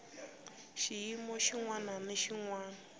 xiyimo xin wana na xin